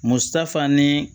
Musafan ni